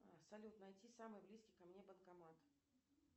салют найти самый близкий ко мне банкомат